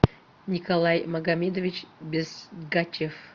николай магомедович безгачев